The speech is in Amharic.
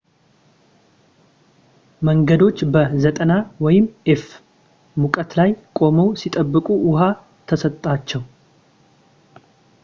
መንገደኞች በ 90f-ሙቀት ላይ ቆመው ሲጠብቁ ውሃ ተሰጣቸው፡፡